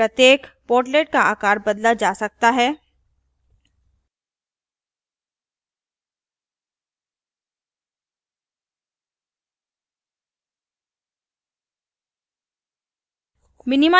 प्रत्येक portlet का आकार बदला जा सकता है